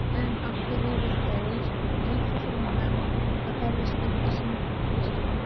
En af hverju eru þeir rígfullorðnir mennirnir að berjast gegn þessum virkjunum?